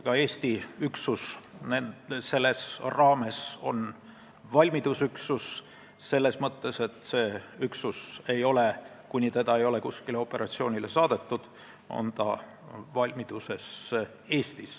Ka Eesti üksus on selle raames valmidusüksus, st üksus, mis on valmiduses Eestis, kuni seda ei ole kuskile operatsioonile saadetud.